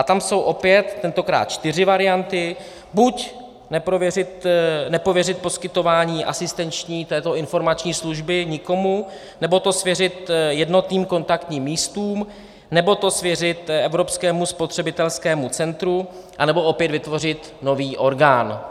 A tam jsou opět tentokrát čtyři varianty: Buď nepověřit poskytování asistenční, této informační služby nikomu, nebo to svěřit jednotným kontaktním místům, nebo to svěřit Evropskému spotřebitelskému centru, anebo opět vytvořit nový orgán.